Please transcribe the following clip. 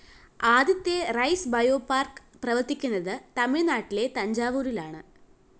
ആദ്യത്തെ rice bio park പ്രവര്‍ത്തിക്കുന്നത് തമിഴ്‌നാട്ടിലെ തഞ്ചാവൂരിലാണ്